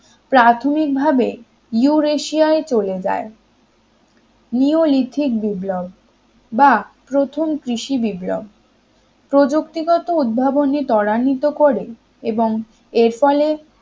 প্রাথমিকভাবে ইউরেশিয়ায় চলে যায় নিওলিথিক বিপ্লব বা প্রথম কৃষি বিপ্লব প্রযুক্তিগত উদ্ভাবন ত্বরান্বিত করে এবং এর ফলে